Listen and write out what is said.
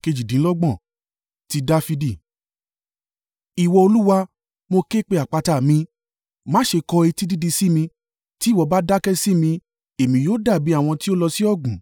Ti Dafidi. Ìwọ Olúwa, mo ké pe àpáta mi. Má ṣe kọ etí dídi sí mi. Tí ìwọ bá dákẹ́ sí mi, èmí yóò dàbí àwọn tí ó lọ sí ọ̀gbun.